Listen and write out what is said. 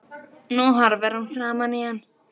Nú horfir hún framan í hann.